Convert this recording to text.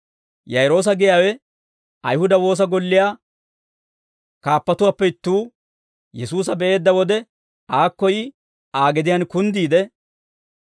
Yaa'iroosa giyaawe, Ayihuda woosa golliyaa kaappatuwaappe ittuu, Yesuusa be'eedda wode aakko yi Aa gediyaan kunddiide,